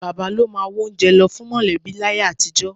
Bàbá ló máa wá oúnjẹ lọ fún mọ̀lẹ́bí láyé àtijọ́